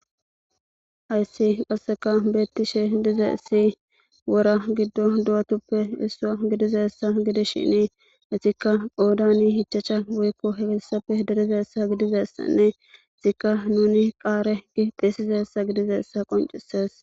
ayssi qasseka beettishe dize issi wora giddo du7atuppe issua gidizaessa gidi shini esikka qoodani hichacha woykko heessappe derizaessa gidizessanne zikka nuni qaare gi xeesizaessa gidizaessa qoncisees